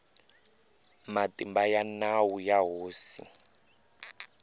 matimba ya nawu ya hosi